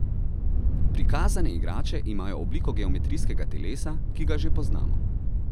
Prikazane igrače imajo obliko geometrijskega telesa, ki ga že poznamo.